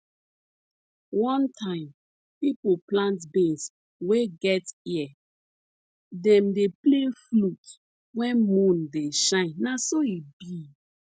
one time people plant beans wey get ear dem dey play flute when moon dey shine na so e bi